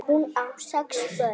Hún á sex börn.